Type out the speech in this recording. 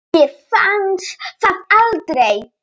Mér fannst það aldrei!